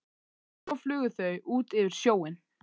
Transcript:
Svo flugu þau út yfir sjóinn.